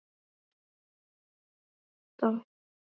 Lóa: Þannig að þið eruð sigurvegarar þessara kosninga?